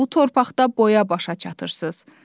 Bu torpaqda boya-başa çatırsınız.